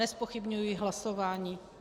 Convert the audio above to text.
Nezpochybňuji hlasování.